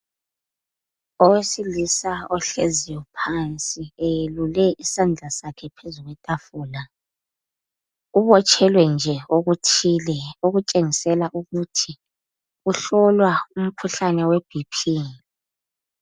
Owesilisa ohleziyo phansi eyelule isandla sakhe phezu kwetafula ubotshelwe nje okuthile okutshengisela ukuthi uhlolwa umkhuhlane we BP.